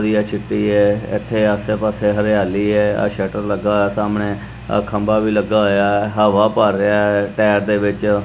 ਯਿਹ ਚਿੱਟੀ ਹ ਇਥੇ ਆਸੇ ਪਾਸੇ ਹਰਿਆਲੀ ਹ ਆਹ ਸ਼ਟਰ ਲੱਗਾ ਹੋਇਆ ਸਾਹਮਣੇ ਆ ਖੰਭਾ ਵੀ ਲੱਗਾ ਹੋਇਆ ਹਵਾ ਭਰ ਰਿਹਾ ਟਾਇਰ ਦੇ ਵਿੱਚ।